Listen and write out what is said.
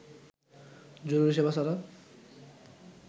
জরুরি সেবা ছাড়া